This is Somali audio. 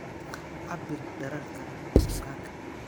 Cabbir dhererka bukaanka.